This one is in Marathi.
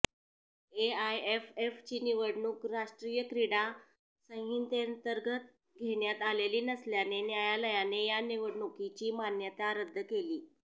एआयएफएफची निवडणूक राष्ट्रीय क्रीडा संहितेंतर्गत घेण्यात आलेली नसल्याने न्यायालयाने या निवडणुकीची मान्यता रद्द केली